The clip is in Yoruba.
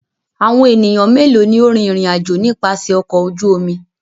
Àwọn ènìyàn mélòó ni ó rìn ìrìnàjò nípasẹ̀ ọkọ̀ ojú omi?